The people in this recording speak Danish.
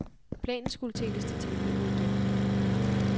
Planen skulle tænkes detaljeret igennem.